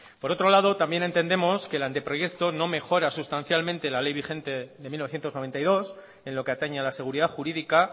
por otro lado también entendemos que el anteproyecto no mejora sustancialmente la ley vigente de mil novecientos noventa y dos en lo que atañe a la seguridad jurídica